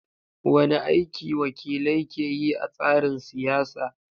Wane aiki wakilai ke yi a tsarin siyasa?